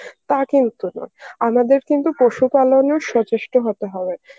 তা কিন্তু নয়, আমাদের কিন্তু পশু পালনেও সচেষ্ট হতে হবে.